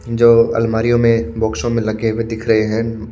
जो अलमारियो में बोक्सो में लगे हुए दिख रहे हैं।